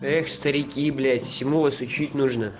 старики блять всему вас учить